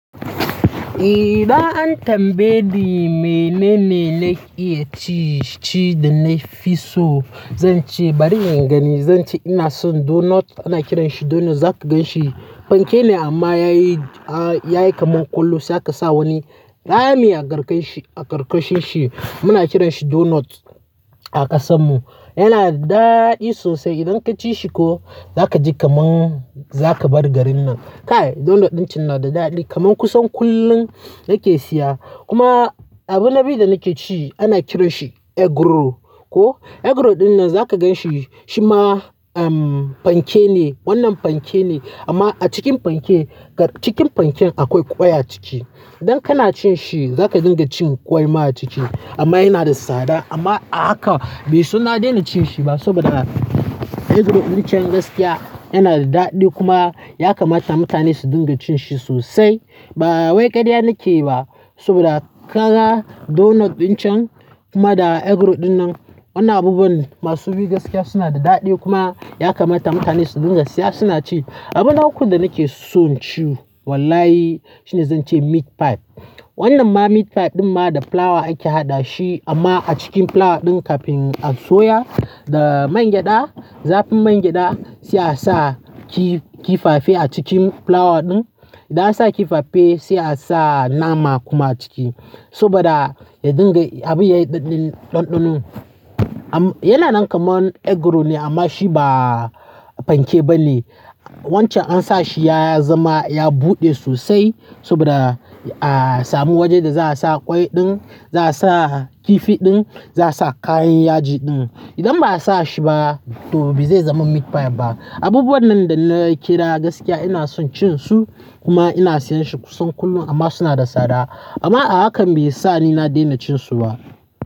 Eh, za ai tambaye ni menene na iya ci ci da na fi so. Zan ce bari in gani. Zan ce, ina son donut ana kiranshi donut za ka gan shi. Fanke ne amma ya yi, a ya yi kaman ƙullu. Sai aka sa wani kaya ne a ƙarkanshi, a ƙarkashin shi. Muna kiranshi donut a ƙasan mu. Yana da daɗi sosai. Idan ka ci shi ko, za ka ji kaman za ka bar garin nan. Kai donut ɗin cen na da daɗi kaman kusan kullum nake siya. Kuma abina biyu da nake ci ana kiranshi eggroll. Ko, eggroll ɗin nan za ka gan shi, shi ma um fanke ne. Wannan fanke ne amma a cikin fanke, cikin fanken akwai ƙwai a ciki. Idan kana cin shi, za ka dinga cin ƙwai ma a ciki. Amma yana da tsada amma a haka bai so na daina cin shi ba saboda eggroll ɗincan gaskiya yana da daɗi kuma ya kamata mutane su dinga cin shi sosai. Ba wai ƙarya nake ba saboda kaga donut ɗin cen kuma da eggroll ɗin nan wanna abubuwan masu biyu gaskiya suna da daɗi kuma ya kamata mutane su dinga siya suna ci. Abu na ukun da nake son ci, wallahi shine zan ce meat pie. Wannan ma meat pie ɗin ma da fulawa ake haɗa shi amma a cikin fulawa ɗin kafin a soya da man gyada, zafin man gyada sai a sa kifafe a cikin fulawa ɗin. Da an sa kifafe sai a sa nama kuma a ciki saboda ya dinga abin ya yi ɗanɗano. Am yana nan kaman eggroll ne amma shi ba fanke bane. Wancan an sa shi ya zama, ya buɗe sosai saboda a samu wajenda za a sa ƙwai ɗin, za a sa kifi ɗin, za a sa kayan yaji ɗin. Idan ba a sa shi ba to bai zama meat pie ba. Abubuwan nan da na kira gaskiya ina son cin su kuma ina siyan shi kusan kullum amma suna da tsada. Amma a haka bai sa ni na daina cin su ba.